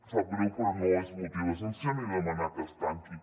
sap greu però no és motiu de sancions ni de demanar que es tanqui